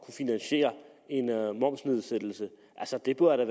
finansiere en momsnedsættelse altså det burde